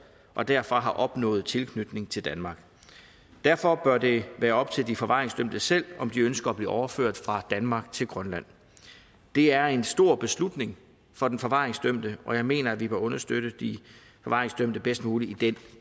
og derfor har opnået tilknytning til danmark derfor bør det være op til de forvaringsdømte selv om de ønsker at blive overført fra danmark til grønland det er en stor beslutning for den forvaringsdømte og jeg mener at vi bør understøtte de forvaringsdømte bedst muligt i den